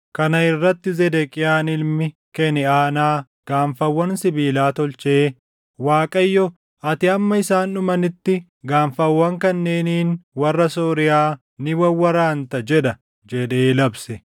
Kana irratti Zedeqiyaan ilmi Keniʼaanaa gaanfawwan sibiilaa tolchee, “ Waaqayyo, ‘Ati hamma isaan dhumanitti gaanfawwan kanneeniin warra Sooriyaa ni wawwaraanta’ jedha” jedhee labse.